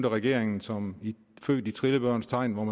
regeringen som født i trillebørens tegn man